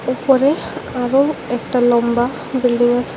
ওপরে আরো একটা লম্বা বিল্ডিং আছে।